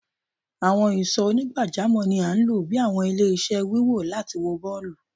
Awọn ìsò onigbajamo ní a lọ bí àwọn ile-iṣẹ́ wíwò láti wó bọọlu